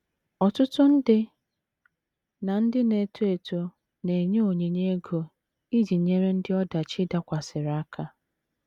Ọtụtụ ndị na - ndị na - eto eto na - enye onyinye ego iji nyere ndị ọdachi dakwasịrị aka